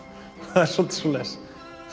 það er svolítið svoleiðis